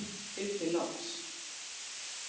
og bið þig loks